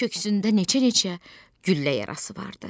Köksündə neçə-neçə güllə yarası vardı.